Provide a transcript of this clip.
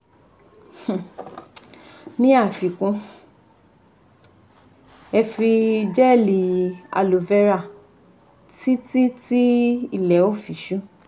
um Ní àfikún, ẹ fi gẹ́ẹ̀li Aloe vera títí tí ilẹ̀ ó fi ṣú